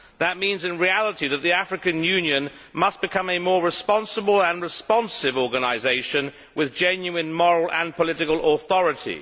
That means, in reality, that the African Union must become a more responsible and responsive organisation with genuine moral and political authority.